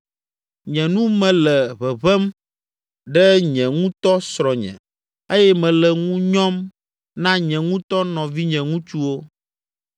Nye nu me le ʋeʋẽm ɖe nye ŋutɔ srɔ̃nye eye mele ŋu nyɔm na nye ŋutɔ nɔvinye ŋutsuwo.